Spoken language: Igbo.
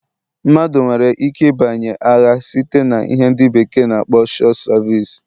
Mmadụ nwere ike ịbanye agha site na ihe ndi beekee na akpo short service.